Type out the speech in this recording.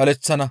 baleththana.